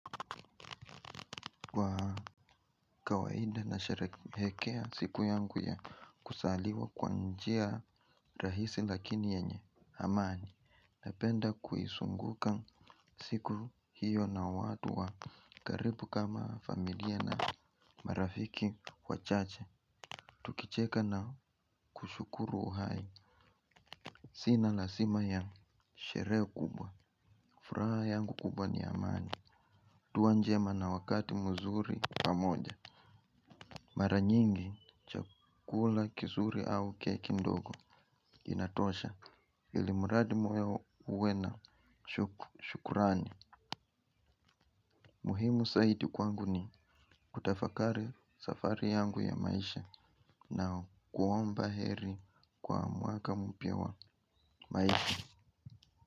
Kwa kawaida na sherekea siku yangu ya kuzaliwa kwa njia rahisi lakini yenye Amani. Napenda kuisunguka siku hiyo na watu wa karibu kama familia na marafiki wachache. Tukicheka na kushukuru uhai. Sina lazima ya sherehe kubwa. Furaha yangu kubwa ni Amani Tua njema na wakati mzuri pamoja. Mara nyingi chakula kizuri au keki ndogo. Inatosha Ilimuradi mweo uwe na shukurani. Muhimu zaidi kwangu ni kutafakari safari yangu ya maisha. Na kuomba heri kwa mwaka mpya wa maisha.